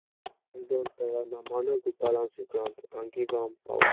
once land don tire nah manure go balance the ground and give am power.